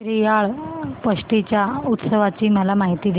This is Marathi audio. श्रीयाळ षष्टी च्या उत्सवाची मला माहिती दे